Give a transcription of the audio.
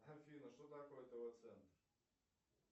афина что такое тв центр